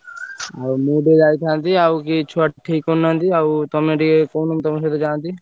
ଆଉ ମୁଁ ଟିକେ ଯାଇଥାନ୍ତି ଆଉ କେହି ଛୁଆ ଠିକ କରୁନାହାନ୍ତି ଆଉ ତମେ ଟିକେ କହୁନ ତମ ସହିତ ଯାଆନ୍ତି।